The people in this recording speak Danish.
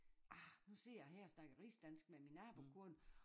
Ah nu sidder jeg her og snakker rigsdansk med min nabokone